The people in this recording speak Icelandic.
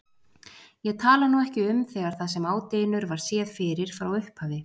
Ég tala nú ekki um þegar það sem á dynur var séð fyrir frá upphafi.